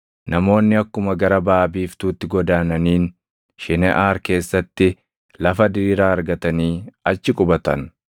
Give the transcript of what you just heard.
Namoonni akkuma gara baʼa biiftuutti godaananiin, Shineʼaar keessatti lafa diriiraa argatanii achi qubatan.